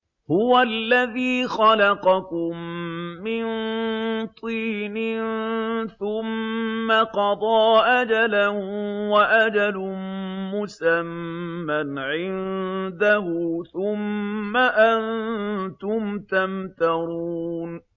هُوَ الَّذِي خَلَقَكُم مِّن طِينٍ ثُمَّ قَضَىٰ أَجَلًا ۖ وَأَجَلٌ مُّسَمًّى عِندَهُ ۖ ثُمَّ أَنتُمْ تَمْتَرُونَ